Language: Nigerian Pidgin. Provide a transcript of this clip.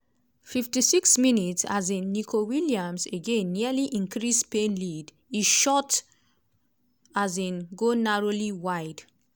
56 mins um - nico williams again nearly increas spain lead e shot um go narrowly wide.